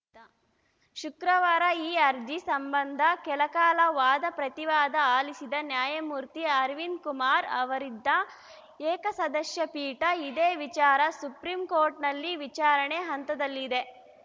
ಶುಕ್ರವಾರ ಈ ಅರ್ಜಿ ಸಂಬಂಧ ಕೆಲಕಾಲ ವಾದಪ್ರತಿವಾದ ಆಲಿಸಿದ ನ್ಯಾಯಮೂರ್ತಿ ಅರವಿಂದ್‌ ಕುಮಾರ್‌ ಅವರಿದ್ದ ಏಕಸದಸ್ಯಪೀಠ ಇದೇ ವಿಚಾರ ಸುಪ್ರೀಂ ಕೋರ್ಟ್‌ನಲ್ಲಿ ವಿಚಾರಣೆ ಹಂತದಲ್ಲಿದೆ